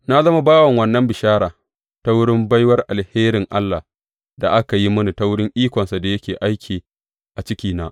Na zama bawan wannan bishara ta wurin baiwar alherin Allah da aka yi mini ta wurin ikonsa da yake aiki a cikina.